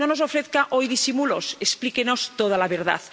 No nos ofrezca hoy disimulos, explíquenos toda la verdad.